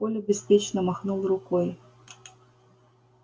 коля беспечно махнул рукой